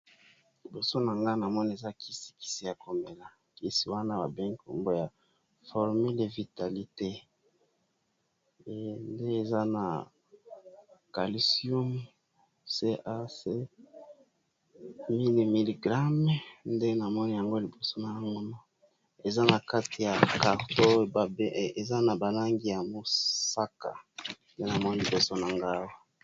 Liboso na nga na moni eza kisi kisi ya komela. Kisi wana ba bengi kombo ya formule vitalité nde eza na calisium cac mil miligrame. Nde na moni yango liboso nao mona. Eza na kati ya carto eza na ba langi ya mosaka. Nde na moni liboso na nga awa.